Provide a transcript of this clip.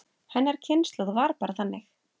Hennar kynslóð var bara þannig.